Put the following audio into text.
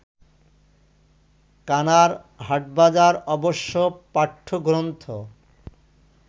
কানার হাটবাজার অবশ্য-পাঠ্যগ্রন্থ